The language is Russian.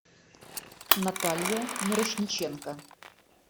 наталья мирошниченко